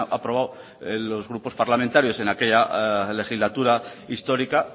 aprobado los grupos parlamentarios en aquella legislatura histórica